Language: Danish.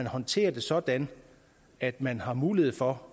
håndteres sådan at man har mulighed for